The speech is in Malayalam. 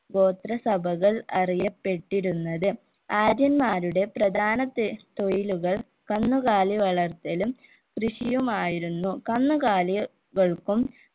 ഗോത്രസഭകൾ അറിയപ്പെട്ടിരുന്നത് ആര്യന്മാരുടെ പ്രധാന തെ തൊഴിലുകൾ കന്നുകാലി വളർത്തലും കൃഷിയുമായിരുന്നു കന്നുകാലി കൾക്കും